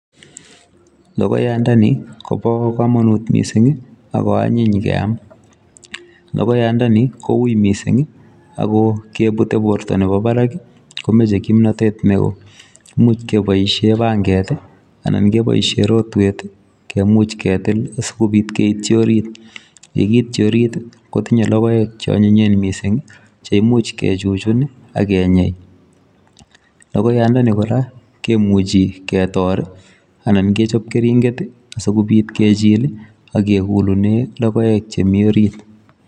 Logoyandani, kobo komonut missing, ago anyiny ngeam. Logoyandani, ko ui missing, ago kebute borto nebo barak, komeche kimnatet neoo. Imuch keboisie panget, anan keboisie rotwet, kemuch ketil, asikobit keitchi orit. Yekiiitchi orit, kotinye logoek che anyinyen missing, che imuch kechuchun, agenyei. Logoyandani kora, kemuchi ketor, anan kechop keringet, asikobit kejil, akegulune logoek che mii orit